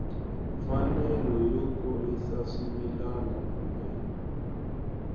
mfanelo yo kurisa swimila kumbe